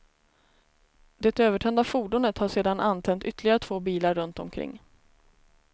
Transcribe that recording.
Det övertända fordonet har sedan antänt ytterligare två bilar runt omkring.